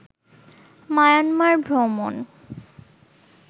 Myanmar ভ্রমণ